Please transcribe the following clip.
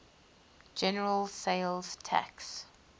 general sales tax